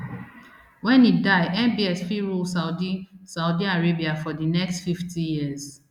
wen e die mbs fit rule saudi saudi arabia for di next fifty years